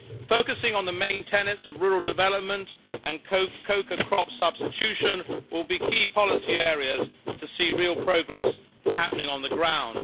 Focusing on the main tenets of rural development and cocoa crop substitution will be key policy areas to see real progress happening on the ground.